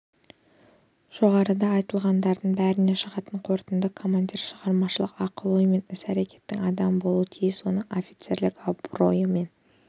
жоғарыда айтылғандардың бәрінен шығатын қорытынды командир шығармашылық ақыл ой мен іс-әрекеттің адамы болуға тиіс оның офицерлік абыройы мен